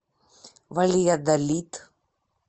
вальядолид